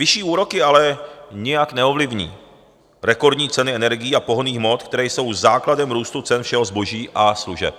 Vyšší úroky ale nijak neovlivní rekordní ceny energií a pohonných hmot, které jsou základem růstu cen všeho zboží a služeb.